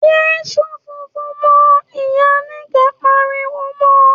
‘Yé s̩òfófó mó̩!’, ìyá Níkè̩é̩ pariwo mo̩